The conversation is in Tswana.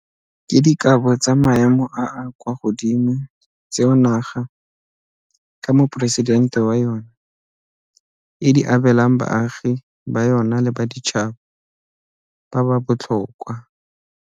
Ke dikabo tsa maemo a a kwa godimo tseo naga, ka Moporesidente wa yona, e di abelang baagi ba yona le baditšhaba ba ba botlhokwa.